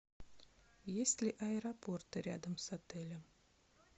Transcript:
есть ли аэропорты рядом с отелем